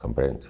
Compreende?